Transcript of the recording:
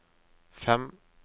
fem